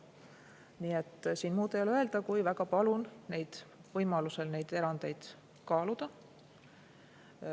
Nii et siin muud ei ole öelda, kui et väga palun võimalusel neid erandeid kaaluda.